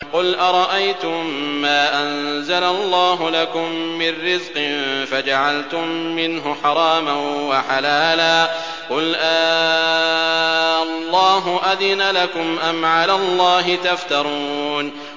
قُلْ أَرَأَيْتُم مَّا أَنزَلَ اللَّهُ لَكُم مِّن رِّزْقٍ فَجَعَلْتُم مِّنْهُ حَرَامًا وَحَلَالًا قُلْ آللَّهُ أَذِنَ لَكُمْ ۖ أَمْ عَلَى اللَّهِ تَفْتَرُونَ